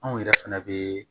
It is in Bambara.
Anw yɛrɛ fɛnɛ bɛ